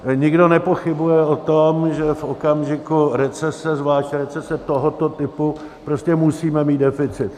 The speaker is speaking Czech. Nikdo nepochybuje o tom, že v okamžiku recese, zvlášť recese tohoto typu, prostě musíme mít deficit.